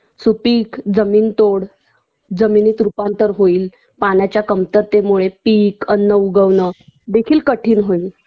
सुपीक जमीनतोड, जमिनीत रूपांतर होईल पाण्याच्या कमतरतेमुळं पीक अन्न उगवण देखील कठीण होईल